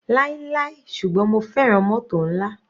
Láíláí ṣùgbọ́n mo fẹ́ràn mótò nla.